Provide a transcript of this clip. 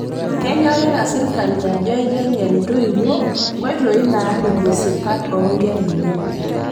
Kenyokita sirkali ajo aiteng'en ntoiwuo nkoitoi naaripie sipat oo nkera enye